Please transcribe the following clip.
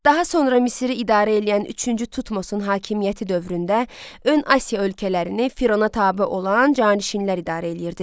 Daha sonra Misiri idarə eləyən üçüncü Tutmosun hakimiyyəti dövründə ön Asiya ölkələrini Firəona tabe olan canişinlər idarə eləyirdilər.